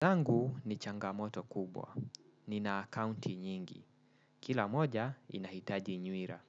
Zangu ni changamoto kubwa. Nina akaunti nyingi. Kila moja inahitaji nyuila.